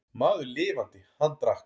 Maður lifandi, hann drakk.